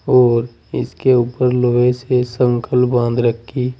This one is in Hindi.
और इसके ऊपर लोहे से संगल बांध रखी--